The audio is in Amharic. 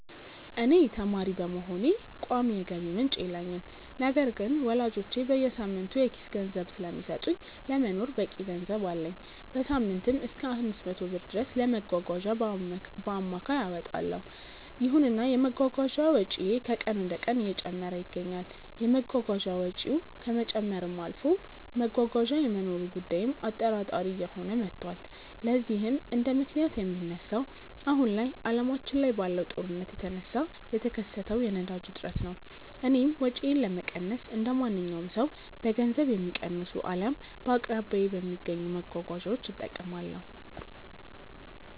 እኔ ተማሪ በመሆኔ ቋሚ የገቢ ምንጭ የለኝም። ነገር ግን ወላጆቼ በየሳምንቱ የኪስ ገንዘብ ስለሚሰጡኝ ለመኖር በቂ ገንዘብ አለኝ። በሳምንትም እሰከ 500 ብር ድረስ ለመጓጓዣ በአማካይ አወጣለው። ይሁንና የመጓጓዣ ወጪዬ ከቀን ወደቀን እየጨመረ ይገኛል። የመጓጓዣ ወጪው ከመጨመርም አልፎ መጓጓዣ የመኖሩ ጉዳይም አጠራጣሪ እየሆነ መቷል። ለዚህም እንደምክንያት የሚነሳው አሁን ላይ አለማችን ላይ ባለው ጦርነት የተነሳ የተከሰተው የነዳጅ እጥረት ነው። እኔም ወጪዬን ለመቀነስ እንደማንኛውም ሰው በገንዘብ የሚቀንሱ አልያም በአቅራቢያዬ በሚገኙ መጓጓዣዎች እጠቀማለሁ።